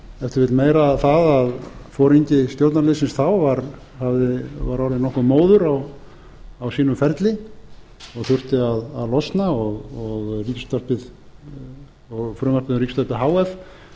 vill meiru um það að foringi stjórnarliðsins þá var orðinn nokkuð móður á sínum ferli og þurfti að losna og frumvarpið um ríkisútvarpið h f